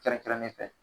Kɛrɛnkɛrɛnnen fɛ